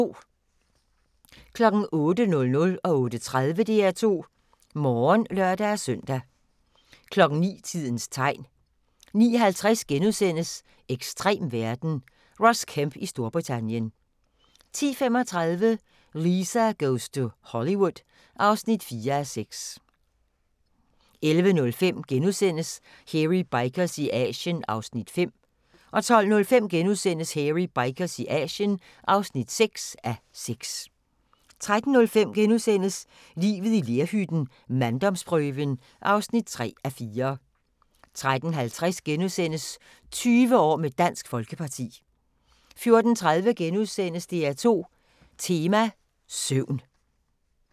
08:00: DR2 Morgen (lør-søn) 08:30: DR2 Morgen (lør-søn) 09:00: Tidens tegn 09:50: Ekstrem verden – Ross Kemp i Storbritannien * 10:35: Lisa goes to Hollywood (4:6) 11:05: Hairy Bikers i Asien (5:6)* 12:05: Hairy Bikers i Asien (6:6)* 13:05: Livet i lerhytten - manddomsprøven (3:4)* 13:50: 20 år med Dansk Folkeparti * 14:30: DR2 Tema: Søvn *